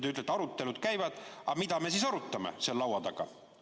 Te ütlete, et arutelud käivad, aga mida me siis arutame seal laua taga?